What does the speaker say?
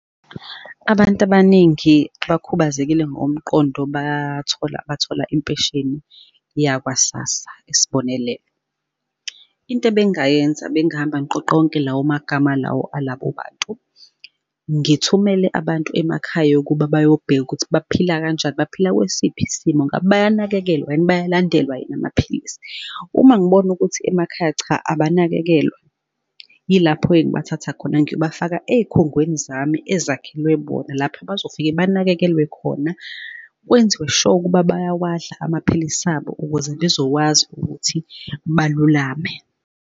Abantu abaningi abakhubazekile ngokomqondo bathola, bathola impesheni yakwa Sassa, isibonelelo. Into ebengingayenza, bengahamba ngiqoqa wonke lawo magama lawo alabo bantu. Ngithumele abantu emakhaya yokuba bayobheka ukuthi baphila kanjani? Baphila kwesiphi isimo? Ngabe bayanakekelwa yini? Bayalandela yini amaphilisi? Uma ngibona ukuthi emakhaya cha, abanakekelwa, yilapho-ke engibathatha khona ngiyobafaka ey'khungweni zami ezakhelwe bona lapho abazofike banakekelwe khona, kwenziwe sure ukuba bawadla amaphilisi abo, ukuze bezokwazi ukuthi balulame.